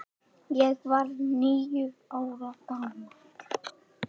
Ég var níu ára gamall.